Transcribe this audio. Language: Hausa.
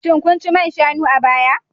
Shin kun ci man shanu a baya